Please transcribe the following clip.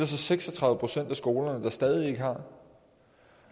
så seks og tredive procent af skolerne der stadig ikke har